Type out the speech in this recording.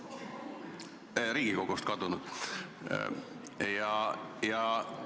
Ma mõtlen, Riigikogust kadunud Kalle Palling.